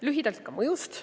Lühidalt ka mõjust.